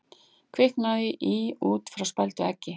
Kviknaði í út frá spældu eggi